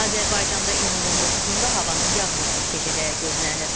Azərbaycanda iyunun 19-da havanın yağmursuz keçəcəyi gözlənilir.